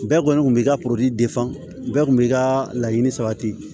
Bɛɛ kɔni kun b'i ka bɛɛ kun b'i ka laɲini sabati